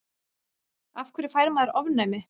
af hverju fær maður ofnæmi